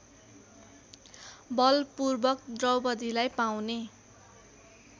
बलपूर्वक द्रौपदीलाई पाउने